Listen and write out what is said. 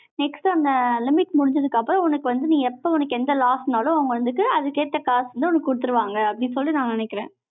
next அந்த limit முடிஞ்சதுக்கு அப்புறம், உனக்கு வந்து, நீ எப்ப உனக்கு எந்த loss னாலும், அவங்க வந்துட்டு, அதுக்கேத்த காசு வந்து, உனக்கு குடுத்துருவாங்க, அப்படின்னு சொல்லிட்டு, நான் நினைக்கிறேன்.